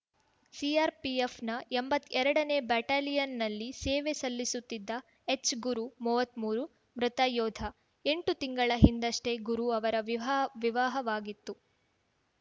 ಸಿಆರ್‌ಪಿಎಫ್‌ನ ಎಂಬತ್ತೆರಡನೇ ಬೆಟಾಲಿಯನ್‌ನಲ್ಲಿ ಸೇವೆ ಸಲ್ಲಿಸುತ್ತಿದ್ದ ಹೆಚ್‌ಗುರು ಮೂವತ್ಮೂರು ಮೃತ ಯೋಧ ಎಂಟು ತಿಂಗಳ ಹಿಂದಷ್ಟೇ ಗುರು ಅವರ ವಿವಾಹವಾಗಿತ್ತು